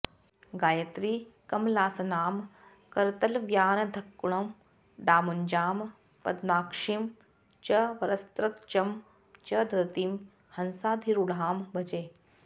गायत्रीं कमलासनां करतलव्यानद्धकुण्डाम्बुजां पद्माक्षीं च वरस्रजं च दधतीं हंसाधिरूढां भजे